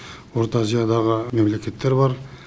орта азиядағы мемлекеттер бар